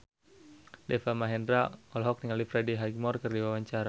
Deva Mahendra olohok ningali Freddie Highmore keur diwawancara